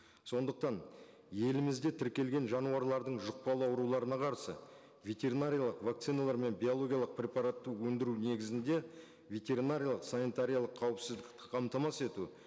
сондықтан елімізде тіркелген жануарлардың жұқпалы ауруларына қарсы ветеринариялық вакциналар мен биологиялық препаратты өндіру негізінде ветеринариялық санитариялық қауіпсіздікті қамтамасыз ету